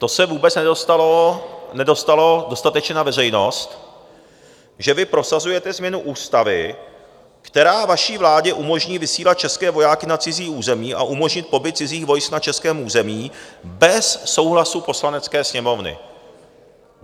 To se vůbec nedostalo dostatečně na veřejnost, že vy prosazujete změnu ústavy, která vaší vládě umožní vysílat české vojáky na cizí území a umožní pobyt cizích vojsk na českém území bez souhlasu Poslanecké sněmovny.